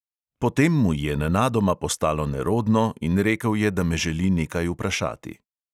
Potem mu je nenadoma postalo nerodno in rekel je, da me želi nekaj vprašati.